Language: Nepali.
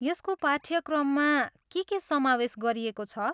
यसको पाठ्यक्रममा के के समावेश गरिएको छ?